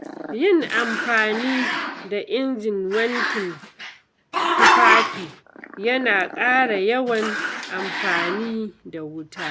Yin amfani da injin wankin tufafi yana ƙara yawan amfani da wuta.